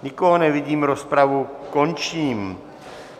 Nikoho nevidím, rozpravu končím.